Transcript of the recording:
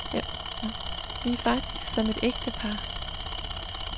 Vi er faktisk som et ægtepar.